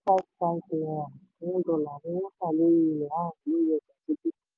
Seven five five naira per one dollar ni wọ́n ta dín owó ilẹ̀ ààrùn lórí ọjà dúdú.